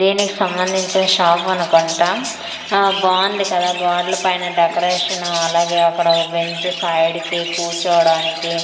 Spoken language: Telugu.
దీనికి సంబందించిన షాఫ్ అనుకుంటాం ఆ బావుంది కదా గోడల పైన డెకరేషన్ అలాగే అక్కడ ఒక బెంచ్ సైడ్ కి కూర్చోడానికి .]